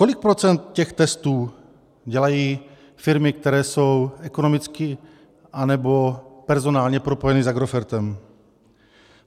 Kolik procent těch trestů dělají firmy, které jsou ekonomicky nebo personálně propojeny s Agrofertem?